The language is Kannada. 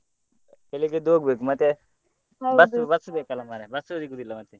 ಬೆಳ್ಳಿಗ್ಗೆ ಎದ್ದು ಹೋಗ್ಬೆಕು ಮತ್ತೆ bus ಬೇಕಲ್ಲ ಮರ್ರೆ bus ಸಿಗುದಿಲ್ಲ ಮತ್ತೆ.